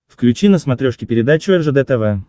включи на смотрешке передачу ржд тв